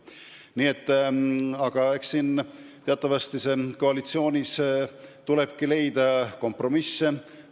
Aga teatavasti koalitsioonis tuleb leida kompromisse.